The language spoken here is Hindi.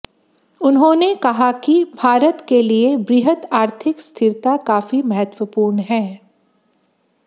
उन्होंने कहा कि भारत के लिए वृहत आर्थिक स्थिरता काफी महत्वपूर्ण है